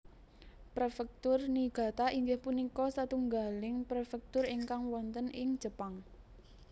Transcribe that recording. Préfèktur Niigata inggih punika satunggaling prefektur ingkang wonten ing Jepang